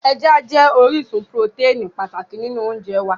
Ẹja jẹ́ orísun purotẹ́ẹ̀nì pàtàkì nínú oúnjẹ wá